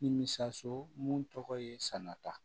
Nimisio mun tɔgɔ ye sanata